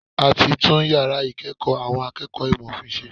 A ti tún yàrá ìkẹ́ẹ̀kọ̀ àwọn akẹ́kọ̀ọ́ ìmọ̀ òfin ṣe.